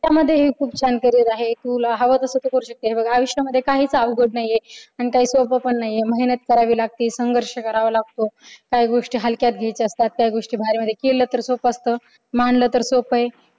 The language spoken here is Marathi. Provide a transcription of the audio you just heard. त्यामध्ये खूप छान केलेल आहे तू आवडतेस तू करू शकतेस हे बघ आयुष्यामध्ये काहीच अवघड नाहीये आणि काही सोपं नाहीये मेहनत करावी लागते संघर्ष करावी लागतो काही गोष्टी हलक्या घ्यायचे असतात. त्या गोष्टीवर केलं तर सोप्प असतं. मानल तर सोप आहे.